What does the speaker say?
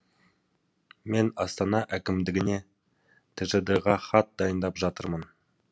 мен астана әкімдігіне тжд ға хат дайындап жатырмын